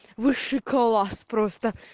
высший класс просто